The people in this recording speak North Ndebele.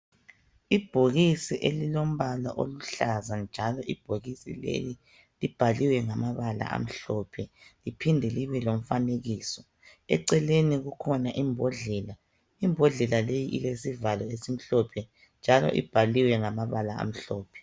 Ibhokisi elilombala oluhlaza, njalo ibhokisi leli libhaliwe ngamabala amhlophe liphinde libe lomfanekiso. Eceleni kukhona imbodlela. imbodlela leyi ilesivalo esimhlophe, njalo ibhaliwe nagamabala amhlophe.